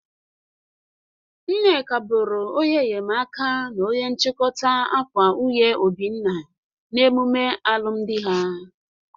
Nneka bụrụ onye enyemaka na onye nchikọta akwa nwunye Obinna na emume alụmdị ha.